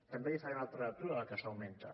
també li faré una altra lectura del que s’augmenta